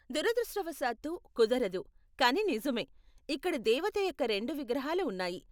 దురదృష్టవశాత్తు, కుదరదు, కానీ నిజమే, ఇక్కడ దేవత యొక్క రెండు విగ్రహాలు ఉన్నాయి.